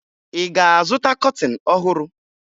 Ị ga-azụta kọtịn ọhụrụ?